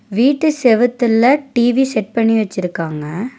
வீட்டு செவுத்துல TV set பண்ணி வச்சிருக்காங்க.